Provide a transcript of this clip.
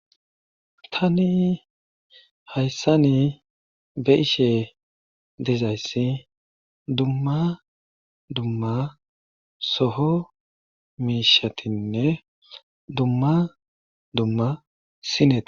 Tani hayssani be7ishee dizayssi dumma dumma soho miishshatinne dumma dumma sineta.